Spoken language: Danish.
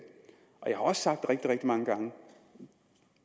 jeg har også sagt rigtig rigtig mange gange